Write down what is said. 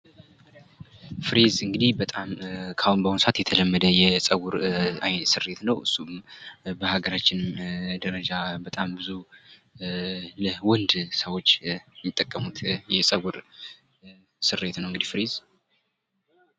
ፍሪዝ እንግዲህ በጣም በአሁኑ ሰአት የተለመደ የጸጉር ስሪት ነው። በሀገራችን ደረጃ በጣም ብዙ ለወንድ ሰዎች የሚጠቀሙት የጸጉር ስሪት ነው እንግዲህ ፍሪዝ።